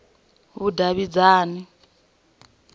vhudavhidzani